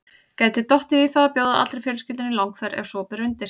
Gæti dottið í þá að bjóða allri fjölskyldunni í langferð ef svo ber undir.